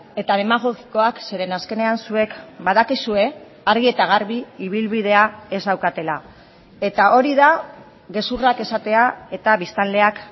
eta demagogikoak zeren azkenean zuek badakizue argi eta garbi ibilbidea ez daukatela eta hori da gezurrak esatea eta biztanleak